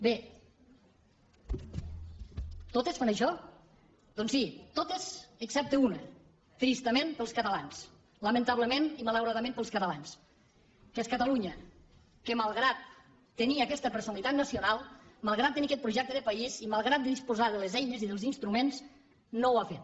bé totes fan això doncs sí totes excepte una tristament per als catalans lamentablement i malauradament per als catalans que és catalunya que malgrat tenir aquesta personalitat nacional malgrat tenir aquest projecte de país i malgrat disposar de les eines i dels instruments no ho ha fet